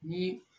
Ni